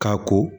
Ka ko